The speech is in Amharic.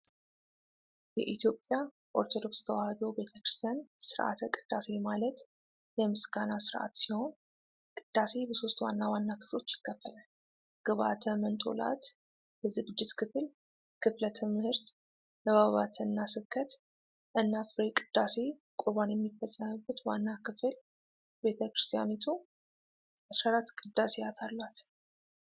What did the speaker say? የኢትዮጵያ ኦርቶዶክስ ተዋሕዶ ቤተ ክርስቲያን ሥርዓተ ቅዳሴ ማለት “የምስጋና ሥርዓት” ሲሆን፣ ቅዳሴ በሦስት ዋና ዋና ክፍሎች ይካፈላል፡- ግብአተ መንጦላእት(የዝግጅት ክፍል)፣ ክፍለ ትምህር (ንባባትና ስብከት)፣ እና ፍሬ ቅዳሴ(ቁርባን የሚፈጸምበት ዋና ክፍል)። ቤተ ክርስቲያኒቱ 14 ቅዳሴያት አሏት።